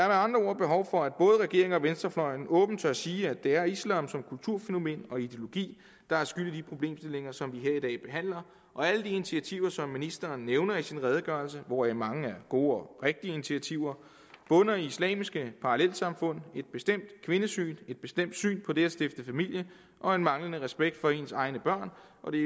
andre ord behov for at både regeringen og venstrefløjen åbent tør sige at det er islam som kulturfænomen og ideologi der er skyld i de problemstillinger som vi her i dag behandler og alle de initiativer som ministeren nævner i sin redegørelse hvoraf mange er gode og rigtige initiativer bunder i islamiske parallelsamfund et bestemt kvindesyn et bestemt syn på det at stifte familie og en manglende respekt for ens egne børn og det